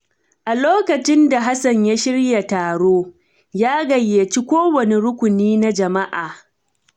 A lokacin da Hassan ya shirya taro, ya gayyaci kowane rukuni na jama’a.